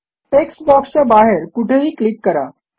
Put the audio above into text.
text बॉक्सच्या बाहेर कुठेही क्लिक करा